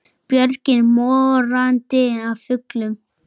Björgin morandi af fuglum.